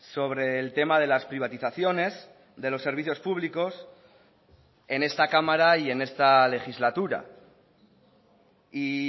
sobre el tema de las privatizaciones de los servicios públicos en esta cámara y en esta legislatura y